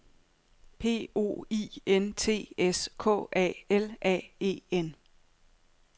P O I N T S K A L A E N